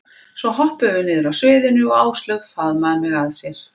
Svo hoppuðum við niður af sviðinu og Áslaug faðmaði mig að sér.